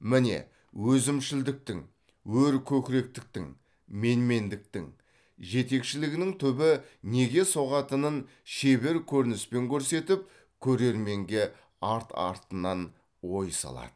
міне өзімшілдіктің өркөкіректіктің менмендіктің жетекшілігінің түбі неге соғатынын шебер көрініспен көрсетіп көрерменге арт артынан ой салады